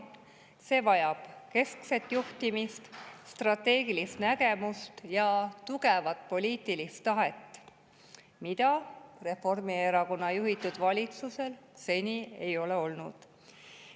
See vajab keskset juhtimist, strateegilist nägemust ja tugevat poliitilist tahet, mida Reformierakonna juhitud valitsusel seni ei ole olnud.